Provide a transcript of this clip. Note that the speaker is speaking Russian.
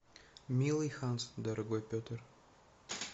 милый ханс дорогой петр